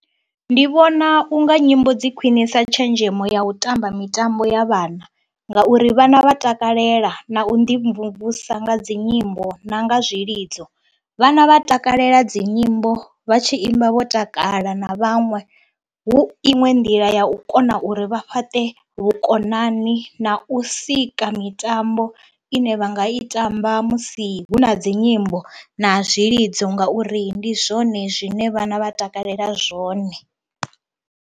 Ndi vhona u nga nyimbo dzi khwinisa tshenzhemo ya u tamba mitambo ya vhana ngauri vhana vha takalela na u ḓimvumvusa nga dzi nyimbo na nga zwilidzo. Vhana vha takalela dzi nyimbo vha tshi imba vho takala na vhaṅwe hu iṅwe nḓila ya u kona uri vha fhaṱe vhukonani na u sika mitambo ine vha nga i tamba musi hu na dzi nyimbo na zwilidzo ngauri ndi zwone zwine vhana vha takalela zwone.